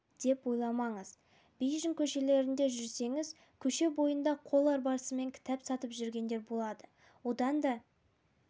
деп ойламаңыз бейжің көшелерінде жүрсеңіз көше бойында қол арбасымен кітап сатып жүретіндер болады одан да